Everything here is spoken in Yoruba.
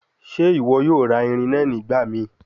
Ṣe iwọ yoo ra irin naa nigbamii?